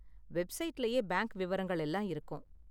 வெப்சைட்லயே bank விவரங்கள் எல்லாம் இருக்கும்.